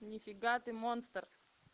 нифига ты монстр